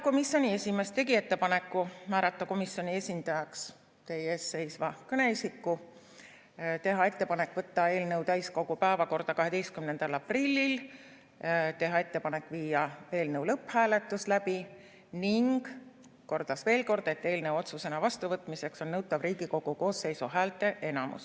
Komisjoni esimees tegi ettepaneku määrata komisjoni esindajaks teie ees seisev kõneisik, teha ettepanek võtta eelnõu täiskogu päevakorda 12. aprillil, teha ettepanek viia läbi eelnõu lõpphääletus ning kordas veel kord, et eelnõu otsusena vastuvõtmiseks on nõutav Riigikogu koosseisu häälteenamus.